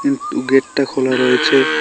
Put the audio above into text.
উম উম গেটটা খোলা রয়েছে।